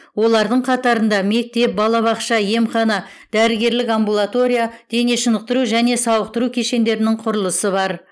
олардың қатарында мектеп балабақша емхана дәрігерлік амбулатория дене шынықтыру және сауықтыру кешендерінің құрылысы бар